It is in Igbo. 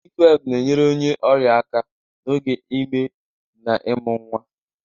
Midiwifu na-enyere onye ọrịa aka n'oge ime na ịmụ nwa.